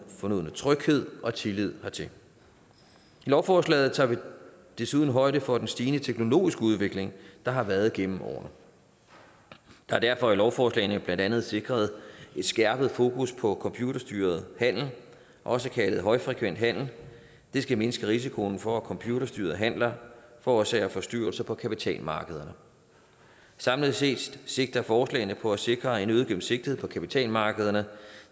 fornødne tryghed og tillid hertil i lovforslagene tager vi desuden højde for den stigende teknologiske udvikling der har været gennem årene der er derfor i lovforslagene blandt andet sikret et skærpet fokus på computerstyret handel også kaldet højfrekvent handel det skal mindske risikoen for at computerstyrede handler forårsager forstyrrelser på kapitalmarkederne samlet set sigter forslagene på at sikre en øget gennemsigtighed på kapitalmarkederne